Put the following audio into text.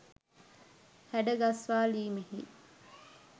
හැඩ ගස්වාලීමෙහි